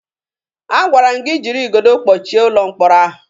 Agwara m gị jiri igodo kpọchie ụlọ mkpọrọ ahụ!